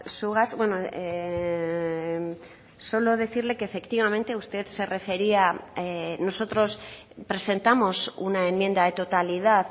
zugaz solo decirle que efectivamente usted se refería nosotros presentamos una enmienda de totalidad